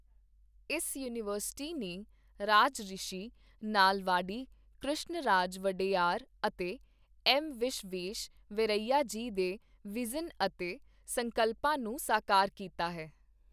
ਇਸ ਯੂਨੀਵਰਸਿਟੀ ਨੇ ਰਾਜਰਿਸ਼ੀ ਨਾਲਵਾਡੀ ਕ੍ਰਿਸ਼ਣਰਾਜ ਵਡੇਯਾਰ ਅਤੇ ਐੱਮ ਵਿਸ਼ਵੇਸ਼-ਵਰੈਯਾ ਜੀ ਦੇ ਵਿਜ਼ਨ ਅਤੇ ਸੰਕਲਪਾਂ ਨੂੰ ਸਾਕਾਰ ਕੀਤਾ ਹੈ।